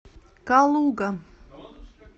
калуга